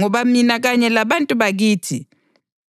Ngoba mina kanye labantu bakithi